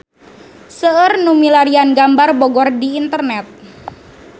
Seueur nu milarian gambar Bogor di internet